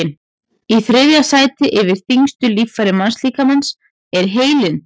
í þriðja sæti yfir þyngstu líffæri mannslíkamans er heilinn